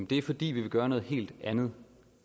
det er fordi vi vil gøre noget helt andet